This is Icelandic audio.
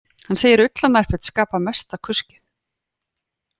Hann segir ullarnærföt skapa mesta kuskið